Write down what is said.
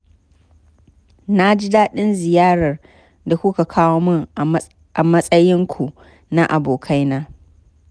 Na ji daɗin ziyarar da kuka kawo min a matsainku na abokaina.